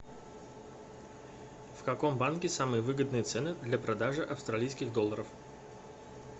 в каком банке самые выгодные цены для продажи австралийских долларов